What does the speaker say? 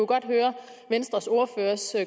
godt høre venstres ordførers